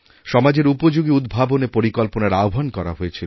সমাজের উপযোগী উদ্ভাবনের পরিকল্পনার আহ্বান করা হয়েছিল